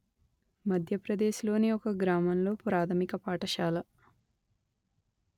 మధ్యప్రదేశ్ లోని ఒక గ్రామంలో ప్రాథమిక పాఠశాల